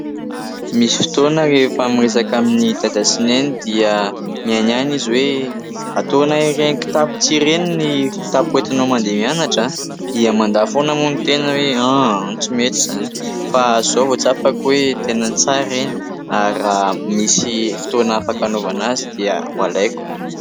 Misy fotoana rehefa miresaka amin'ny Dada sy Neny dia mihaino ihany izy hoe ataonay iren'ny kitapo tsihy ireny ny kitapo entinao mandeha mianatra. Dia mandà foana moa ny tena hoe : "a ! a ! a ! Tsy mety izany fa izao vao tsapako hoe tena tsara ireny ary raha misy fotoana afaka anaovana azy dia ho alaiko.